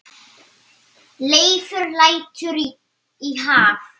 Leifur lætur í haf